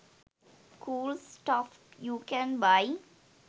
cool stuff you can buy